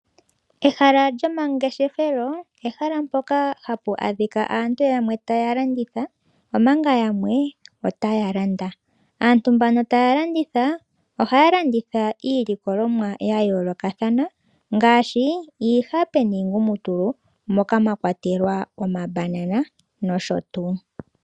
Ehala lyomangeshefelo, ehala mpoka hapu adhika aantu yamwe taya landitha, omanga yamwe otaya landa. Aantu mboka taya landitha ohaya landitha iilikoomwa ya yoolokathana ngaashi iihape niingumutulu moka mwa kwatelwa omabanana nosho tuu.